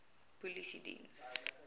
polisiediens